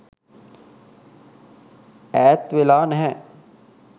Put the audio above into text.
ඈත්වෙලා නැහැ.